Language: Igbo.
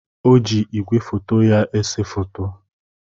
O ji igwefoto ya ese foto.